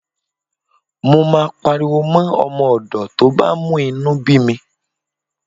Mo máa pariwo mọ́ ọmọ ọ̀dọ̀ tó bá mú inú bí mi.